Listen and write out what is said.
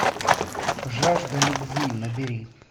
жажда любви набери